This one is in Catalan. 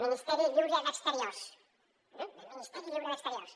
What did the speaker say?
ministeri lliure d’exteriors el ministeri lliure d’exteriors